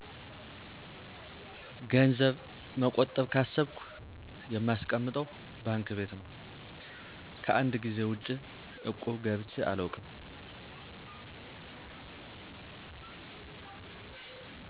ገንዘብ መቆጠብ ካሰብኩ የማስቀምጠው ባንክ ቤት ነው። ከአንድ ጊዜ ውጭ እቁብ ገብቼ አላውቅም።